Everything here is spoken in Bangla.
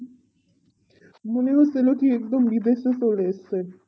মনে হচ্ছিলো কি একদম বিদেশে চলে এসেছে